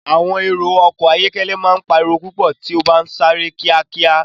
Awọn ẹrọ ọkọ ayọkẹlẹ ma n pariwo pupọ ti o ba n sare kiakia.